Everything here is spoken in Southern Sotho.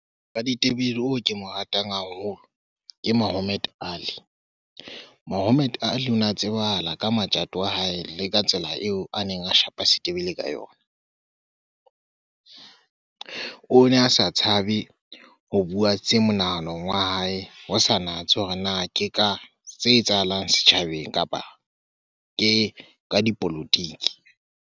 Raditebele oo ke mo ratang haholo ke Muhammad Ali. Muhammad Ali o na tsebahala ka matjato a hae le ka tsela eo a neng a shapa setebele ka yona. O ne a sa tshabe ho bua tse monahanong wa hae, ho sa natse hore na ke ka se etsahalang setjhabeng kapa ke ka dipolotiki.